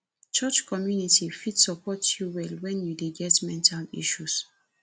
church community fit support you well wen you dey get mental issues